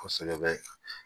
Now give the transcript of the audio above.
Kosɛbɛ